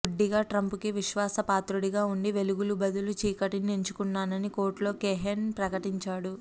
గుడ్డిగా ట్రంప్కి విశ్వాసపాత్రుడుగా ఉండి వెలుగుకు బదులు చీకటిని ఎంచుకున్నానని కోర్టులో కోహెన్ ప్రకటించాడు